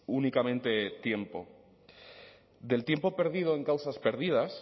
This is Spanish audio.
únicamente tiempo del tiempo perdido en causas perdidas